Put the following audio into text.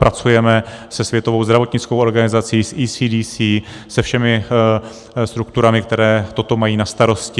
Pracujeme se Světovou zdravotnickou organizací, s ECDC, se všemi strukturami, které to mají na starosti.